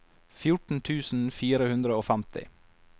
fjorten tusen fire hundre og femti